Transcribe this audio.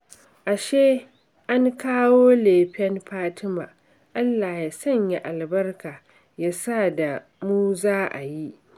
Ashe an kawo lefen Fatima, Allah ya sanya albarka ya sa da mu za a yi